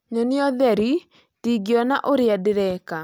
Nyonia ũtheri ndingĩona ũrĩa ndĩreka